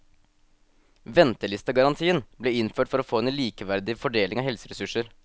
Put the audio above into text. Ventelistegarantien ble innført for å få en likeverdig fordeling av helseressurser.